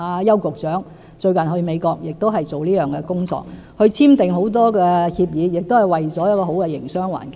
邱局長最近前往美國亦是做這工作，簽訂了很多協議，也是為了締造好的營商環境。